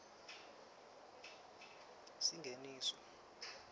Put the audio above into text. singeniso